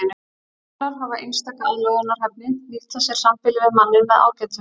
Stökklar hafa einstaka aðlögunarhæfni nýta sér sambýli við manninn með ágætum.